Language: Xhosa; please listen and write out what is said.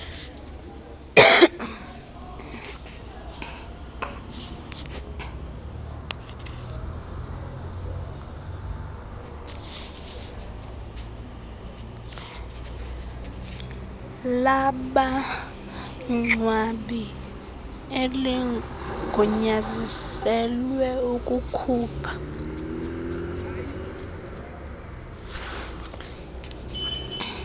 labangcwabi eligunyaziselwe ukukhupha